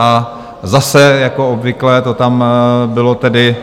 A zase jako obvykle to tam bylo tedy